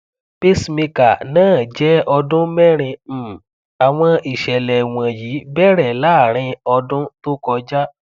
pacemaker náà jẹ ọdún merin um àwọn ìṣẹlẹ wọnyí bẹrẹ láàrin ọdún tó kọjá